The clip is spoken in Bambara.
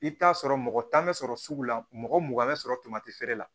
I bɛ t'a sɔrɔ mɔgɔ tan bɛ sɔrɔ sugu la mɔgɔ mugan bɛ sɔrɔ tamati feere la